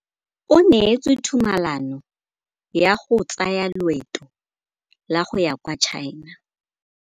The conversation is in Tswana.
O neetswe tumalanô ya go tsaya loetô la go ya kwa China.